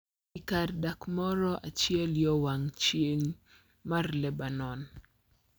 E kar dak moro achiel yo wang` chieng` ma Lebanon